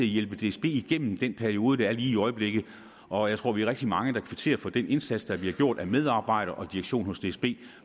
hjælpe dsb igennem den periode der er lige i øjeblikket og jeg tror vi er rigtig mange der kvitterer for den indsats der bliver gjort af medarbejdere og direktion hos dsb